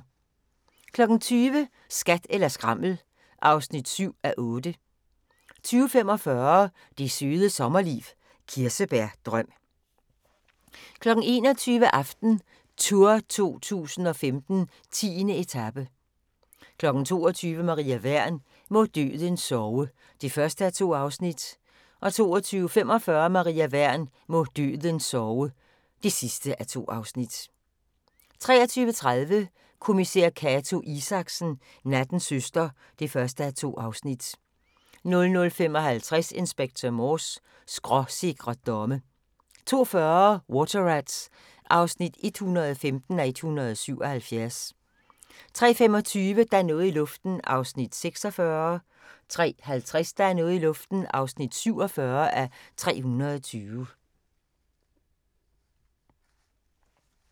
20:00: Skat eller skrammel (7:8) 20:45: Det Søde Sommerliv – Kirsebærdrøm 21:00: AftenTour 2015: 10. etape 22:00: Maria Wern: Må døden sove (1:2) 22:45: Maria Wern: Må døden sove (2:2) 23:30: Kommissær Cato Isaksen: Nattens søster (1:2) 00:55: Inspector Morse: Skråsikre domme 02:40: Water Rats (115:177) 03:25: Der er noget i luften (46:320) 03:50: Der er noget i luften (47:320)